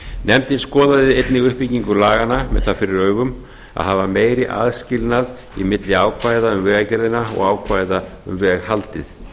nefndin skoðaði einnig uppbyggingu laganna með það fyrir augum að hafa meiri aðskilnað milli ákvæða um vegagerðina og ákvæða um veghaldið